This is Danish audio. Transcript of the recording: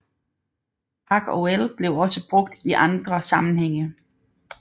Parc OL bliver også brugt i andre sammenhænge